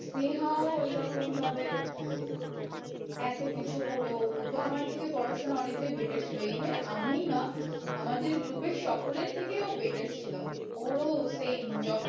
নেহাও ওই রকম ভাবে এত কিছু করেও, ও তো আমার থেকে পড়াশোনায় অনেকটাই better ছিল even আমাদের group এ সকলের থেকে ও better ছিল ওর ও same job